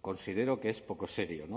considero que es poco serio